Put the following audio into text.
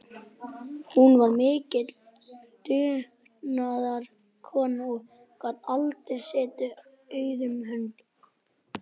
Hún var mikil dugnaðarkona og gat aldrei setið auðum höndum.